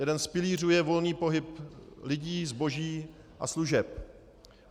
Jeden z pilířů je volný pohyb lidí, zboží a služeb.